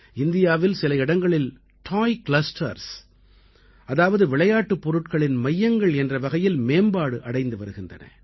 இந்தியாவில் சில இடங்கள் டாய் கிளஸ்டர்ஸ் அதாவது விளையாட்டுப் பொருட்களின் மையங்கள் என்ற வகையில் மேம்பாடு அடைந்து வருகின்றன